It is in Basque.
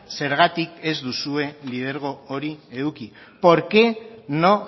zergatik ez duzue lidergo hori eduki por qué no